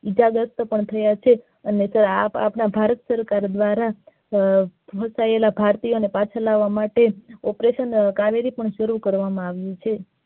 ઈજાગ્રસ્ત પણ થયા છે અને આપડા ભારત સરકાર દ્વારા મોકલાયેલા ભારતીયો ને પાછા લાવા માટે operation કાવેરી પૂરું કરવામાં આવ્યુ છે.